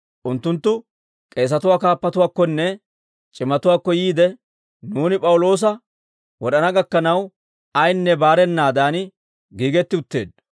Unttunttu k'eesatuwaa kaappatuwaakkonne c'imatuwaakko yiide, «Nuuni P'awuloosa wod'ana gakkanaw, ayinne baarennaadan, giigetti utteeddo.